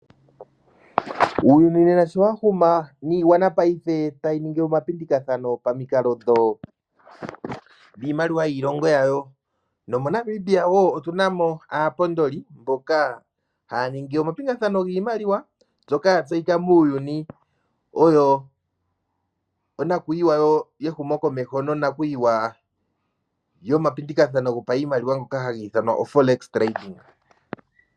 Uuyuni nena sho wa huma, niigwana paife tayi ningi omapindikathano pamikalo dhiimaliwa yiilongo yawo, nomoNamibia wo otu na mo aapondoli mboka haya ningi omapingathano giimaliwa, ngoka ya tseyika muuyuni oyo onakuyiwa yehumokomeho nonakuyiwa yomapindikathano gopashimaliwa ngoka haga ithanwa oForex Tradinga.